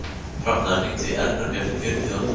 Hafnar, hringdu í Elberg eftir fjörutíu og átta mínútur.